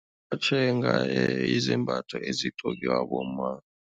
Tjhenga yizembatho ezigqokiwa bomma.